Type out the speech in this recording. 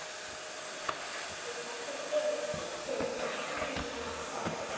Þú þarft að gefa mér skýrslu um kvennafar þitt!